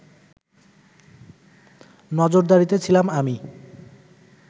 নজরদারিতে ছিলাম আমি